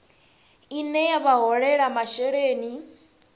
ine ya vha holela masheleni